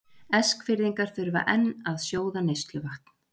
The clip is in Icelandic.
Eskfirðingar þurfa enn að sjóða neysluvatn